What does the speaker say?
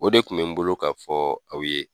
O de kun mɛ n bolo ka fɔ aw ye.